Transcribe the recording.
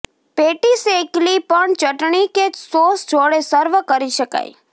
patties એકલી પણ ચટણી કે સોસ જોડે સર્વ કરી શકાય